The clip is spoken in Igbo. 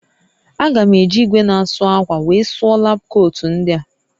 A ga m eji igwe na asụ akwa wee sụọ lab kootu ndịa